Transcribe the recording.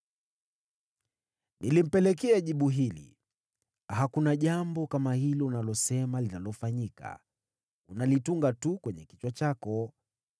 Nilimpelekea jibu hili: “Hakuna jambo kama hilo unalosema linalofanyika. Unalitunga tu kwenye kichwa chako.”